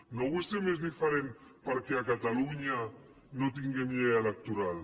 no vull ser més diferent perquè a catalunya no tinguem llei electoral